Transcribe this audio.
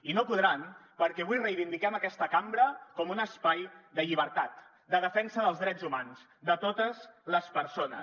i no podran perquè avui reivindiquem aquesta cambra com un espai de llibertat de defensa dels drets humans de totes les persones